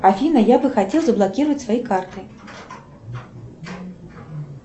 афина я бы хотела заблокировать свои карты